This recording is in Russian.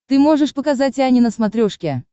ты можешь показать ани на смотрешке